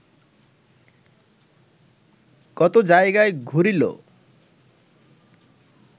কত জায়গায় ঘুরিল